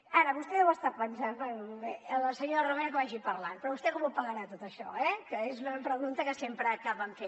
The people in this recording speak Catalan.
ara vostè deu estar pensant bé la senyora romero que vagi parlant però vostè com ho pagarà tot això eh que és una pregunta que sempre acaben fent